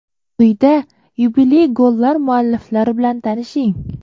Quyida yubiley gollar mualliflari bilan tanishing.